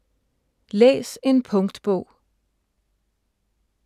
Læs en punktbog